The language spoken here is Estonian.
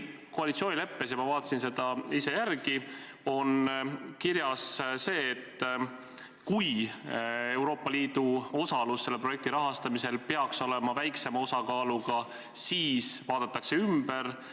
Koalitsioonileppes – ma vaatasin uuesti järele – on kirjas, et kui Euroopa Liidu osalus selle projekti rahastamisel peaks olema väiksema osakaaluga, siis vaadatakse see ümber.